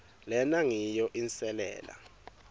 lena ngiyo inselela